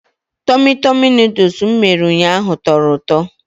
Tummy tummy Nụdụls m mere ụnyaahụ tọrọ ụtọ.